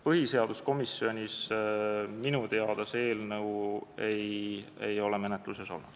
Põhiseaduskomisjoni menetluses minu teada see eelnõu ei ole olnud.